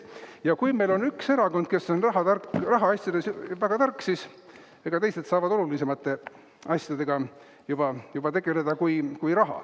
Ja kui meil on üks erakond, kes on rahatark, rahaasjades väga tark, siis teised saavad tegeleda olulisemate asjadega kui raha.